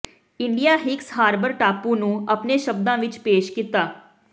India Hicks Harbour ਟਾਪੂ ਨੂੰ ਆਪਣੇ ਸ਼ਬਦਾਂ ਵਿਚ ਪੇਸ਼ ਕੀਤਾ